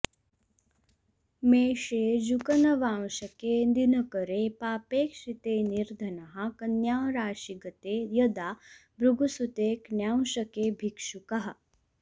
मेषे जूकनवांशके दिनकरे पापेक्षिते निर्धनः कन्याराशिगते यदा भृगुसुते क्न्यांशके भिक्षुकः